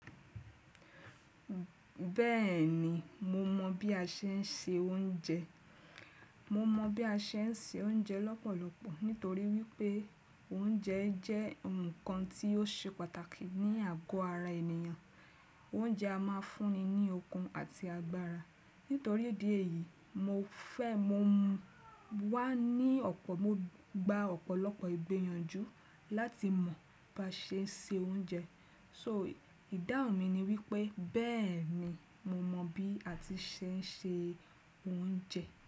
Bẹ́ẹ̀ni, mo mọ̀ bí a ṣe ń se oúnjẹ. Mo mọ̀ bí a ṣe ń se oúnjẹ lọ́pọ̀lọpọ̀ nítorí wípé oúnjẹ jẹ́ ǹkan tí ó ṣe pàtàkì ní àgọ́ ara ènìyàn. Oúnjẹ a máa ń fúnni ní okun àti agbára. Nítorí ìdí èyí, mo fẹ́ mo wá ní ọ̀pọ̀, mo gba ọ̀pọ̀lọpọ̀ ìgbèyanjú láti mọ̀ bí a ṣe ń se oúnjẹ. So ìdáhùn mi ni wípé bẹ́ẹ̀ni mo mọ̀ bí a ti ṣe ń se oúnjẹ.